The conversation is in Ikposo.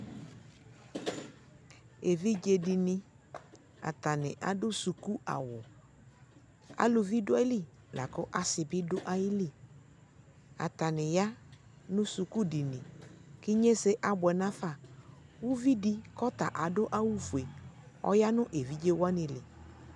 evidze di ni atani ado suku awu aluvi do ayili lako asi bi do ayili atani ya no suku dini ko inyise aboɛ no afa uvi di ko ɔta ado awu fue ɔya no evidze wani li